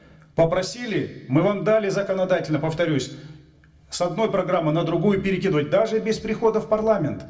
попросили мы вам дали законодательно повторюсь с одной программы на другую перекидывать даже без прихода в парламент